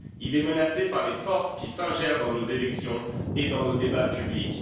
Il est menacé par les forces qui s'ingèrent dans nos élections et dans nos débats publics.